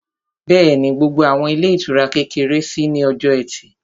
Bẹ́ẹ̀ni, gbogbo àwọn ilé ìtura kékeré ṣí ní ọjọ́ ẹtì